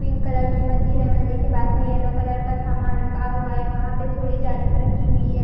Pink colour की मंदिर है मंदिर के पास में येलो कलर का सामान रखा हुआ है वहां पे थोड़ी जालीस रखी हुई।